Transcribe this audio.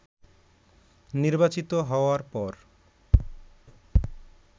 নির্বাচিত হওয়ার পর